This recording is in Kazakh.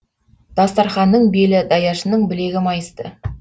дастарқанның белі даяшының білегі майысты